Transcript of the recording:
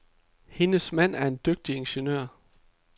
Hendes mand er en dygtig ingeniør.